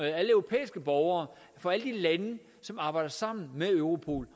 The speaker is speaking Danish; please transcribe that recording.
europæiske borgere for alle de lande som arbejder sammen med europol